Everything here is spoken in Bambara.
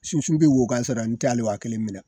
Sunsun be wo kasɔrɔ n tɛ hali wa kelen minɛ